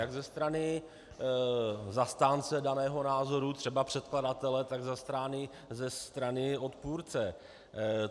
Jak ze strany zastánce daného názoru, třeba předkladatele, tak ze strany odpůrce.